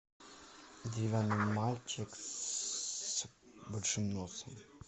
деревянный мальчик с большим носом